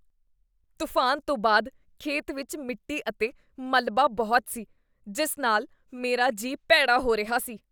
ਤੂਫਾਨ ਤੋਂ ਬਾਅਦ ਖੇਤ ਵਿੱਚ ਮਿੱਟੀ ਅਤੇ ਮਲਬਾ ਬਹੁਤ ਸੀ, ਜਿਸ ਨਾਲ ਮੇਰਾ ਜੀਅ ਭੈੜਾ ਹੋ ਰਿਹਾ ਸੀ।